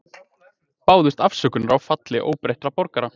Báðust afsökunar á falli óbreyttra borgara